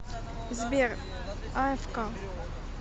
сбер аэфка